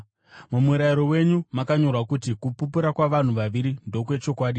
Mumurayiro wenyu makanyorwa kuti kupupura kwavanhu vaviri ndokwechokwadi.